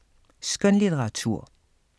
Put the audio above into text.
Skønlitteratur